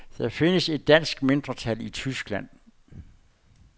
Der findes et dansk mindretal i Tyskland.